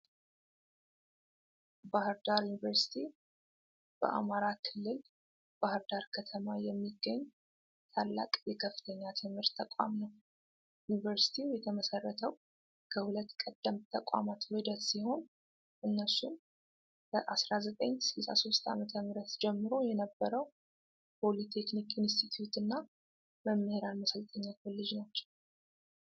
ባህር ዳር ዩኒቨርሲቲ በአማራ ክልል ባህር ዳር ከተማ የሚገኝ ታላቅ የከፍተኛ ትምህርት ተቋም ነው። ዩኒቨርሲቲው የተመሰረተው ከሁለት ቀደምት ተቋማት ውህደት ሲሆን፣ እነሱም ከ1963 ዓ.ም ጀምሮ የነበረው ፖሊቴክኒክ ኢንስቲትዩት እና መምህራን ማሰልጠኛ ኮሌጅ ናቸው።